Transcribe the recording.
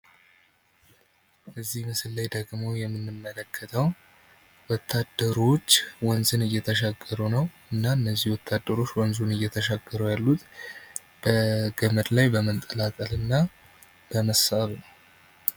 እዚህ ምስል ላይ ደሞ የምንመለከተው ወታደሮች ወንዝን እየተሻገሩ ነው። እና እነዚህ ወታደሮች ወንዙን እየተሻገሩ ያሉት በገመድ ላይ በመንጠላጠል እና በመሳብ ነው።